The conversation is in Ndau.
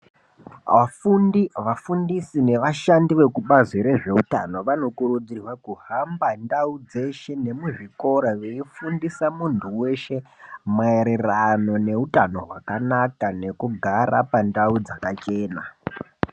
Afundi vafundisi nevashandi vekubazi rezveutano vanokurudzirwa kuhamba ndau dzeShe nemuzvikora veifundisa muntu weshe maererano neutano hwakanaka nekugare pandau dzakachena.